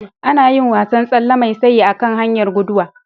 Ana yin wasan tsalle mai sayi a kan hanyar guduwa.